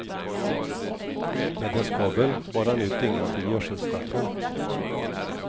Med en skovel bar han ut dyngan till gödselstacken.